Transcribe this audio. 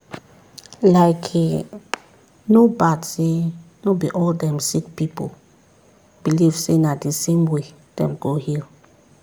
likee no bad say no be all dem sick pipu believe say na the same way dem go heal.